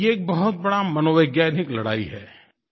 ये एक बहुत बड़ी मनोवैज्ञानिक लड़ाई है